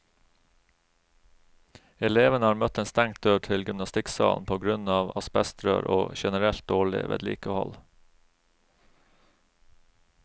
Elevene har møtt en stengt dør til gymnastikksalen på grunn av asbestrør og generelt dårlig vedlikehold.